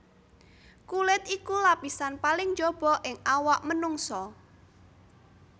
Kulit iku lapisan paling njaba ing awak manungsa